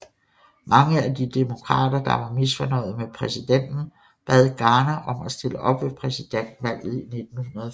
Mange af de demokrater der var misfornøjede med præsidenten bad Garner om at stille op ved præsidentvalget i 1940